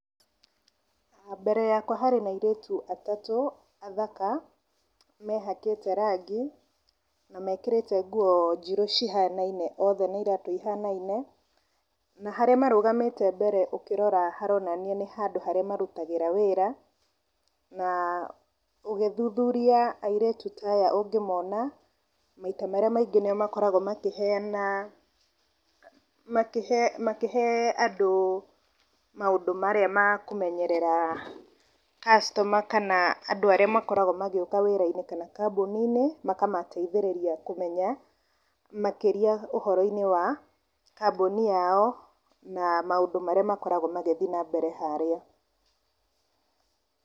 Mbere yakwa harĩ na airĩtu atatũ athaka, mehakĩte rangi, na mekĩrĩte nguo njirũ cihanaine othe na iratũ ihanaine. Na harĩa marũgamĩte mbere ũkĩrora haronania nĩ handũ harĩa marutagĩra wĩra. Na ũgĩthuthuria airĩtu ta aya ũngĩmona, maita marĩa maingĩ nĩo makoragwo makĩheana, makĩhe makĩhe andũ maũndũ marĩa ma kũmenyerera customer kana andũ arĩa makoragwo magĩũka wĩra-inĩ kana kambũni-inĩ, makamateithĩrĩria kũmenya makĩria ũhoro-inĩ wa kambũni yao, na maũndũ marĩa makoragwo magĩthiĩ na mbere harĩa.